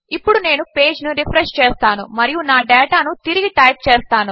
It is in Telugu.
ఇప్పుడునేనుపేజ్నురిఫ్రెష్చేస్తానుమరియునాడేటానుతిరిగిటైప్చేస్తాను